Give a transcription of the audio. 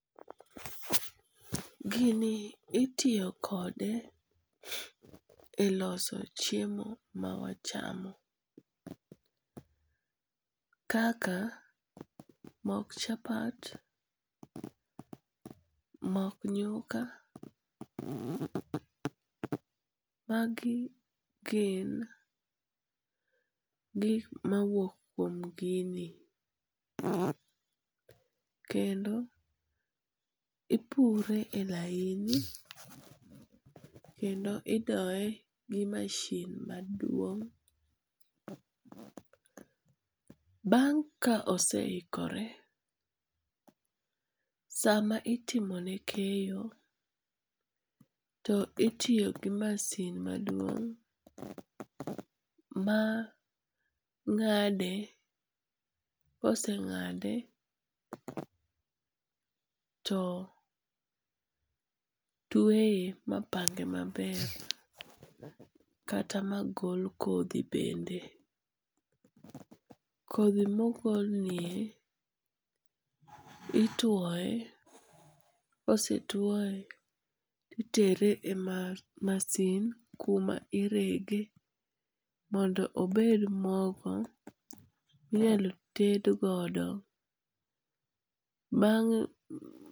Gini itiyo kode e loso chiemo mawachamo, kaka mok chapat, mok nyuka, magi gin gik mawuok kuom gini, kendo ipure e laini kendo idoye gi machine maduong'. Bang' ka oseikore sama itimone keyo to itiyogi masin maduong' mang'ade, koseng'ade to tweye mapang'e maber kata magol kothi bende, kothi mogolnie itwoye kosetwoye titere e masin kuma irege mondo obed mogo minyalo tedgodo bang'.